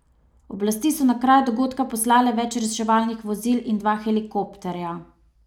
Oblasti so na kraj dogodka poslale več reševalnih vozil in dva helikopterja.